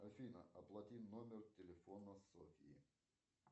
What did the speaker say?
афина оплати номер телефона софьи